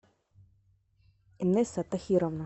инесса тахировна